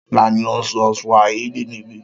Ta ni ó ń sọ Swahili níbí?